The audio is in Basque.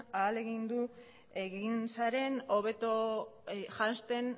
ahalegindu egin zaren hobeto janzten